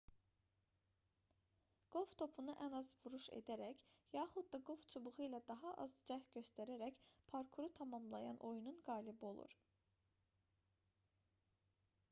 qolf topuna ən az vuruş edərək yaxud da qolf çubuğu ilə daha az cəhd göstərərək parkuru tamamlayan oyunun qalibi olur